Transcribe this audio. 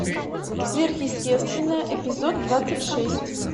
сверхъестественное эпизод двадцать шесть